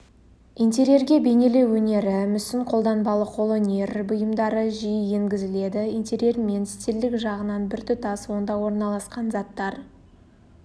интерьерге бейнелеу өнері мүсін қолданбалы қолөнер бұйымдары жиі енгізіледі интерьермен стильдік жағынан біртұтас онда ораналасқан заттар